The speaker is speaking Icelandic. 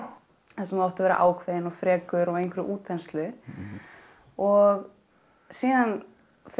þar sem þú átt að vera ákveðinn og frekur og í einhverri útþenslu og síðan fer